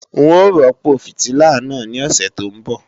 N ó rọ́pò fìtílà náà ní òsè tó ń bọ̀